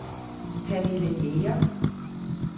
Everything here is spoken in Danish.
Pernille Jæger